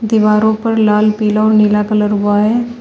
दीवारों पर लाल पीला और नीला कलर हुआ है।